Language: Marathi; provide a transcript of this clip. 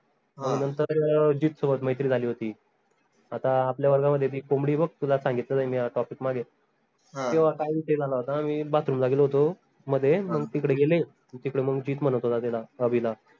जित सोबत मैत्री झाली होती आता आपल्या वर्गामध्ये बी एक कोंबडी आहे बघ तुला सांगितलं नाही मी हा topic मागे काय विषय झाला होता मी bathroom ला गेलो होतो मध्ये मंग तिकडे गेले न तिकडे मंग जीत म्हनत होता तेला अभिला